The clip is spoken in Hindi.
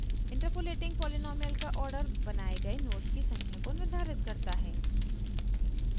interpolating पॉलीनॉमीअल का ऑर्डर बनाये गए नोड्स की संख्या को निर्धारित करता है